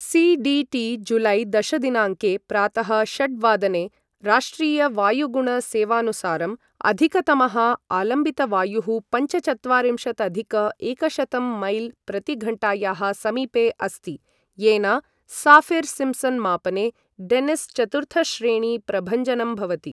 C D T जुलै दश दिनाङ्के प्रातः षट् वादने, राष्ट्रीयवायुगुणसेवानुसारम्, अधिकतमः आलम्बितवायुः पञ्चचत्वारिंशदधिक एकशतं मैल् प्रतिघण्टायाः समीपे अस्ति, येन साफिर् सिम्सन् मापने, डेन्निस् चतुर्थश्रेणी प्रभञ्जनं भवति।